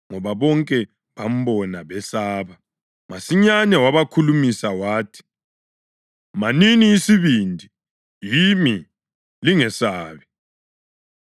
ngoba bonke bambona besaba. Masinyane wabakhulumisa wathi, “Manini isibindi! Yimi. Lingesabi.”